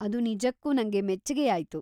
ಅದು ನಿಜಕ್ಕೂ ನಂಗೆ ಮೆಚ್ಚಿಗೆಯಾಯ್ತು.